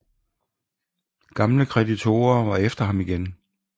Gamle kreditorer var efter ham igen